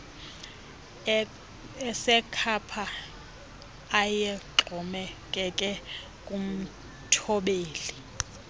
asekhapha ayexhomekeke kumthobeli